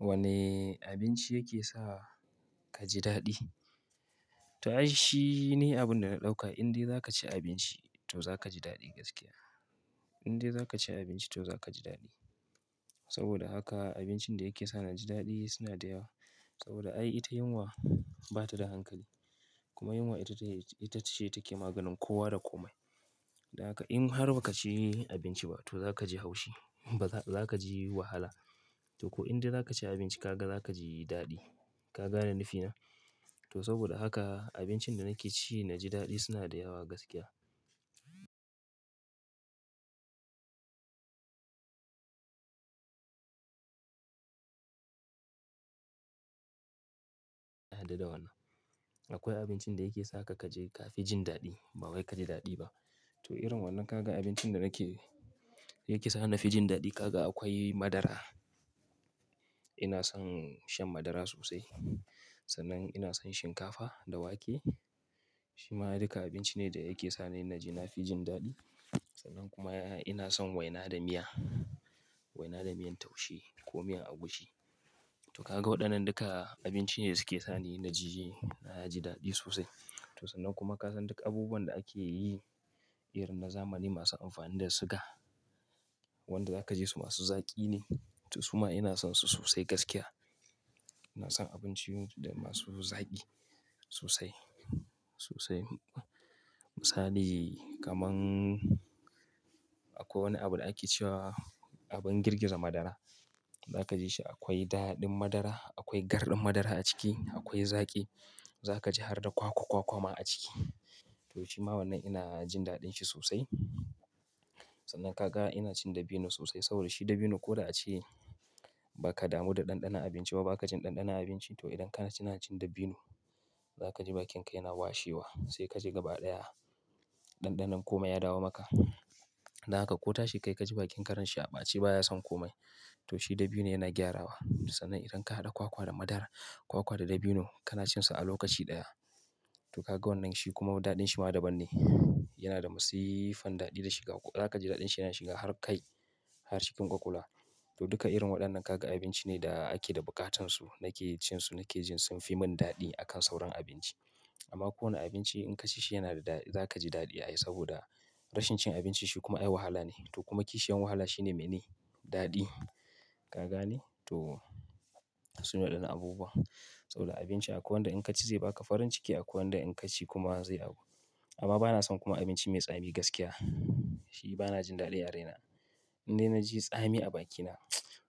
Wane abinci yake sa ka ji daɗi? To ai, shine abin da na ɗauka, in dai za ka ci abinci to za ka ji daɗi gaskiya. In dai za ka ci abinci to za ka ji daɗi. Saboda haka abincin da yake sa na ji daɗi suna da yawa. Saboda ai ita yunwa ba ta da hankali, kuma yunwa ita ce take maganin kowa da komai. Da haka in har ba ka ci abinci ba to za ka ji haushi, za ka ji wahala. To ko in dai za ka ci abinci, ka ga za ka ji daɗi. Ka gane nifina? To saboda haka abincin da nake ci na ji daɗi suna da yawa gaskiya. Da wannan. Akwai abincin da yake sa ka ka je ka fi jin daɗi, ba wai ka ji daɗi ba. To irin waɗannan kaga abincin da nake, yake sa na fi jin daɗi, kaga akwai madara. Ina son shan madara sosai. Sannan ina son shinkafa da wake. Shi ma duka abinci ne da yake sani na ji na fi jin daɗi. Sannan kuma ina son waina da miya, waina da miyan taushe ko miyan agushi. To ka ga waɗannan duka abinci ne da suke sani na ji, na ji daɗi sosai. To sannan kuma ka san duk abubuwan da ake yi, irin na zamani masu amfani da suga, wanda za ka ji su masu zaƙi ne. To su ma ina son su sosai gaskiya. Ina son abinci masu zaƙi sosai, sosai. Misali kamar akwai wani abu da ake cewa abin girgiza madara. Za ka ji shi akwai daɗin madara, akwai garɗin madara a ciki, akwai zaƙi. Za ka ji har da kwakwa kwakwa ma a ciki. To shi ma wannan ina jin daɗin shi sosai. Sannan ka ga ina cin dabino sosai saboda shi dabino ko da a ci ba ka damu da ɗanɗana abinci ba, ba ka jin ɗanɗana abinci. To idan ka na ci dabino, za ka ji bakinka yana washewa, sai ka je gaba ɗaya. Ɗanɗanon kome ya dawo maka. Da haka ko tashi kai ka ji bakin karen shi aɓa, a ci baya son kome. To shi dabino yana gyarawa. Sannan idan ka haɗa kwakwa da madara, kwakwa da dabino, ka na cin su a lokaci ɗaya. To ka ga wannan shi kuma daɗin shi ma daban ne. Yana da masifan daɗi da shiga. Za ka ji daɗin shi yana shiga har kai, har cikin ƙwaƙƙwala. To duka irin waɗannan kaga abinci ne da ake da buƙatan su, nake cin su, nake jin sun fi mun daɗi a kan sauran abinci. Amma kowane abinci in ka ci shi yana da daɗi, za ka ji daɗi ai saboda rashin cin abinci shi kuma ai wahala ne. To kuma kishiyan wahala shi ne mene? Daɗi. Ka gane? To su ne waɗannan abubuwa. Saboda abinci akwai wanda in ka ci zai ba ka farin ciki, akwai wanda in ka ci kuma zai agu. Amma ba na son kuma abinci mai tsami gaskiya. Shi ba na jin daɗin a rai na in dai na ji tsami a bakina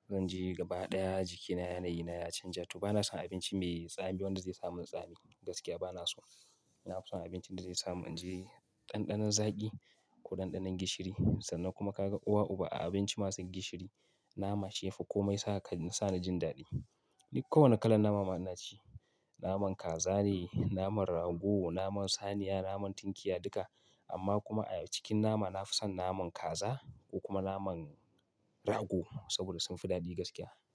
zan je gaba ɗaya jikina yana yi, yana canja. To ba na son abinci mai tsami wanda zai sa mun tsami gaskiya ba na so. Ina son abinci da zai sa mun ji ɗanɗanon zaƙi ko ɗanɗanon gishiri. Sannan kuma ka ga uwa uba a abinci masu gishiri, nama, shifu ko mai sa ka, sa na jin daɗi. Nik kowane kalan nama ina ci. Naman kaza ne, naman rago, naman saniya, naman tinkiya duka. Amma kuma a cikin nama na fi son naman kaza ko kuma naman rago saboda sun fi daɗi gaskiya.